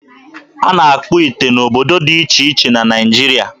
A na-akpụ ite n'obodo dị iche iche na Naịjiria.